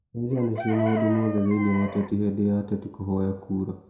Mbeca nĩcio maũndũ mothe thĩinĩ wa ũteti hindi ya ateti kuhoya kũũra.